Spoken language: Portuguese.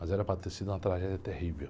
Mas era para ter sido uma tragédia terrível.